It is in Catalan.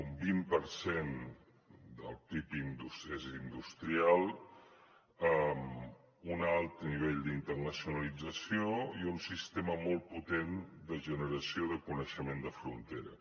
un vint per cent del pib és industrial amb un alt nivell d’internacionalització i un sistema molt potent de generació de coneixement de frontera